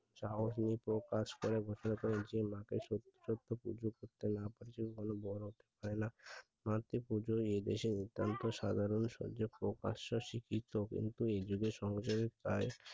যা হয় তা প্রকাশ করা জন্য মাকে সত্যকে যে করতে না পারে আরো মাতৃপূজা এই দেশে সাধারণ প্রকাশ্য স্বীকৃত কিন্তু এযুগে সমাজে প্রায়